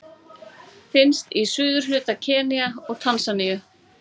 Finnst í suðurhluta Keníu og Tansaníu.